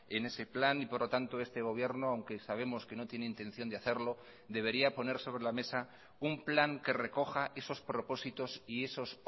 en ese plan y por lo tanto este gobierno aunque sabemos que no tiene intención de hacerlo debería poner sobre la mesa un plan que recoja esos propósitos y esos